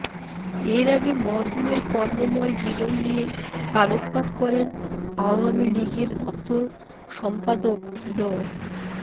এর আগে মরহুমের কর্মময় জীবন নিয়ে আলোকপাত করেন আওয়ামী লীগের দপ্তর সম্পাদক ড